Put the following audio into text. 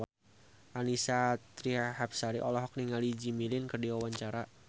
Annisa Trihapsari olohok ningali Jimmy Lin keur diwawancara